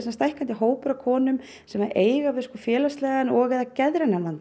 hópur af konum sem eiga við félagslegan og eða geðrænan vanda